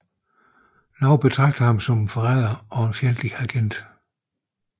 Nogle betragter ham som forræder og fjendtlig agent